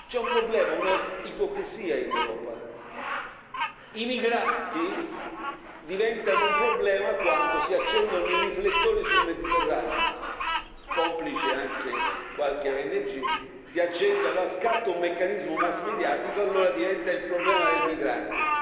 C'è un problema, un'ipocrisia in Europa i migranti diventano un problema quando si accendono i riflettori sul Mediterraneo, complice anche qualche ONG, allora scatta un meccanismo massmediatico, e allora diventa il problema del migrante.